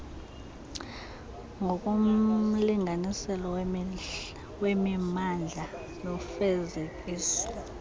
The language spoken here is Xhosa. ngokomlinganiselo wemimandla nofezekiso